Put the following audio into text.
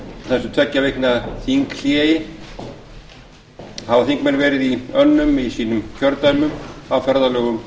þessu tveggja vikna þinghléi hafi þingmenn verið í önnum í sínum kjördæmum á ferðalögum